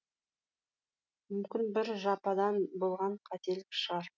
мүмкін бір жападан болған қателік шығар